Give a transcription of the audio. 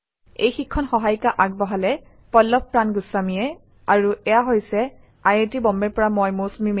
এই শিক্ষণ সহায়িকা আগবঢ়ালে ডেচিক্ৰিউ চলিউশ্যনছ পিভিটি